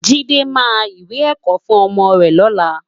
Jide má iwé èkò fún òmò rè lòlá